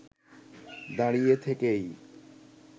দাঁড়িয়ে থেকেই